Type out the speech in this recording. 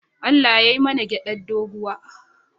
Allah yai mana gyaɗar dogo.